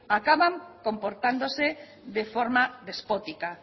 acaban comportándose de forma despótica